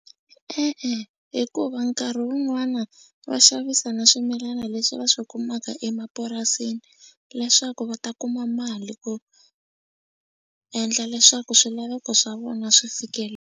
E-e, hikuva nkarhi wun'wana va xavisa na swimilana leswi va swi kumaka emapurasini leswaku va ta kuma mali ku endla leswaku swilaveko swa vona swi .